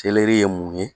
ye mun ye